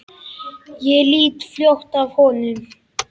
Ég lít fljótt af honum.